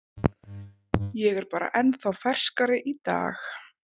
Ég er bara ennþá ferskari í dag.